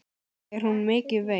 Er hún mikið veik?